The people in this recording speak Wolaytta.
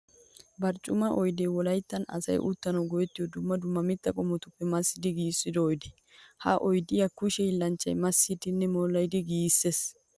Barccumma oydde wolayttan asay uttanawu go'ettiyo dumma dumma mitta qommotuppe massiddi giigissiyo oydde. Ha oyddiya kushe hiillanchchay massiddinne moliddi giigisees.